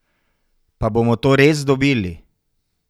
Pa bomo to res dobili?